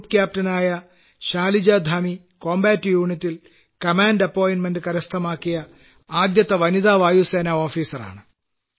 group captain ആയ combat unit A യിൽ command നിയമനം കരസ്ഥമാക്കിയ ആദ്യത്തെ വനിതാ വ്യോമ സേനാ ഓഫീസറാണ്